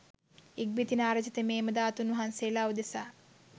ඉක්බිති නාරජ තෙමේ එම ධාතුන් වහන්සේලා උදෙසා